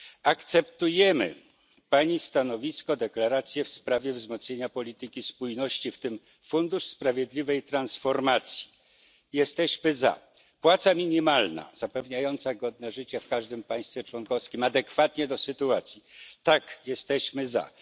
Akceptujemy Pani stanowisko, deklarację w sprawie wzmocnienia polityki spójności, w tym fundusz sprawiedliwej transformacji jesteśmy za. Płaca minimalna zapewniająca godne życie w każdym państwie członkowskim, adekwatnie do sytuacji tak, jesteśmy za.